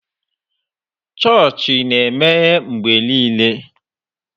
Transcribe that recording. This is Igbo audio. Chọọchị na-emeghe mgbe niile.